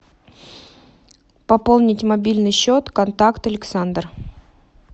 пополнить мобильный счет контакт александр